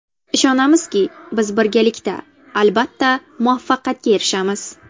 Ishonamizki, biz birgalikda, albatta muvaffaqiyatga erishamiz!